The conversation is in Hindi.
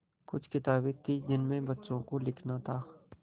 कुछ किताबें थीं जिनमें बच्चों को लिखना था